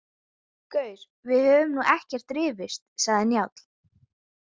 Gaur, við höfum nú ekkert rifist, sagði Njáll.